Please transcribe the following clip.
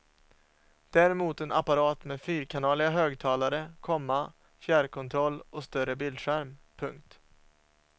Däremot en apparat med fyrkanaliga högtalare, komma fjärrkontroll och större bildskärm. punkt